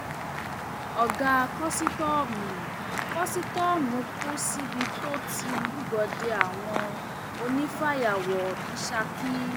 ọgá kọsítọọmù kọsítọọmù kù síbi tó ti lúgọ de àwọn onífàyàwọ ní ṣákì